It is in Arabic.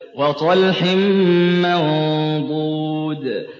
وَطَلْحٍ مَّنضُودٍ